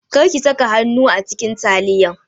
Kar ki saka hannu a cikin taliyan!